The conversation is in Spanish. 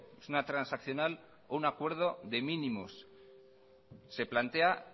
es una transaccional o un acuerdo de mínimos se plantea